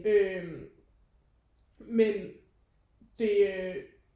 Øh men det